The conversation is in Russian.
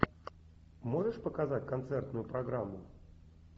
можешь показать концертную программу